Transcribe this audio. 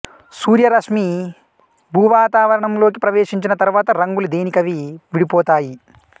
సూర్య రశ్మి భూవాతావరణంలోకి ప్రవేశించిన తరువాత రంగులు దేనికవి విడిపోతాయి